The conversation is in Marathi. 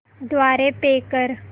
द्वारे पे कर